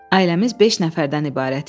Ailəmiz beş nəfərdən ibarət idi.